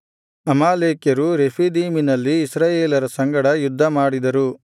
ಅಮಾಲೇಕ್ಯರು ರೆಫೀದೀಮಿನಲ್ಲಿ ಇಸ್ರಾಯೇಲರ ಸಂಗಡ ಯುದ್ಧಮಾಡಿದರು